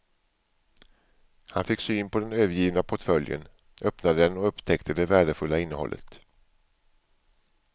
Han fick syn på den övergivna portföljen, öppnade den och upptäckte det värdefulla innehållet.